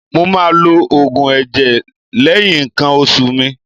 Mo máa lo Ògùn ẹ̀jẹ̀ lẹ́yìn ǹkan oṣù mi.